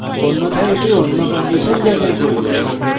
অন্যথায় এটি অন্য condition যাচাই করবে